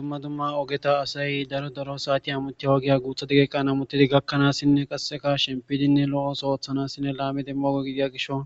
dumma dumma ogeta asay daro daro saati hamuti oogiya guutha dageeqan hamutidi gakkanaassinne qasseka shempidinne lo7os oothanassinne laamidemmogo gidiya gisho